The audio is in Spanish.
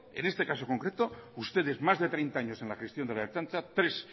en este caso concreto ustedes más de treinta años en la gestión de la ertzaintza tres